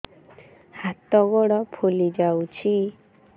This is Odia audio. ହାତ ଗୋଡ଼ ଫୁଲି ଯାଉଛି